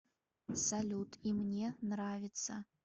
салют и мне нравится